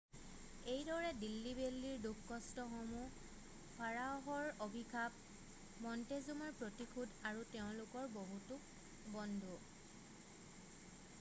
এইদৰে দিল্লী বেল্লীৰ দুখ-কষ্টসমূহ ফাৰাঅ'হৰ অভিশাপ মন্টেজুমাৰ প্ৰতিশোধ আৰু তেওঁলোকৰ বহুতো বন্ধু৷